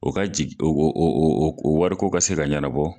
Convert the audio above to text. O ka wari jigi o o o o wari ko ka se ka ɲɛnɛbɔ